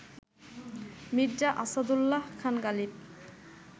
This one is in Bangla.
মির্জা আসাদুল্লাহ খান গালিব